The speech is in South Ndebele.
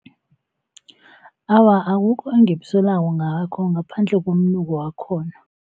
Awa akukho engikusolako ngabo ngaphandle komnuko wakhona.